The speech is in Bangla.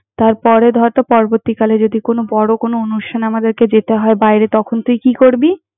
তারপরে, ধর হয় তো পরবর্তীকালে যদি কোনো বড় কোনো অনুষ্ঠানে আমাদেরকে যেতে হয় বাইরে, তখন তুই কি করবি?